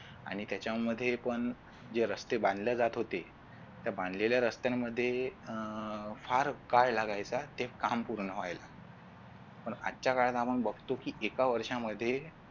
आणि त्याच्यामध्ये पण जे रस्ते बांधल्या जात होते बांधलेल्या रस्त्यांमध्ये अह फार काळ लागायचा ते काम पूर्ण व्हायला पण आजच्या काळात आपण बघतो की एका वर्षामध्ये